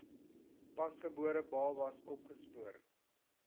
pasgebore babas opgespoor